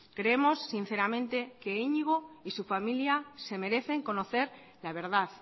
creemos sinceramente que iñigo y su familia se merecen conocer la verdad